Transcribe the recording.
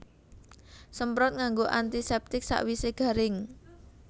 Semprot nganggo antiseptik sawise garing